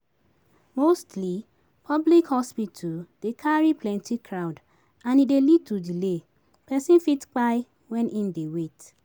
Mosty public hospital dey carry plenty crowd and e dey lead to delay, person fit kpai when im dey wait